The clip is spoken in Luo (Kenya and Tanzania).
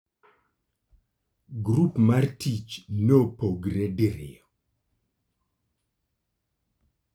Grup mar tich nopogore diriyo.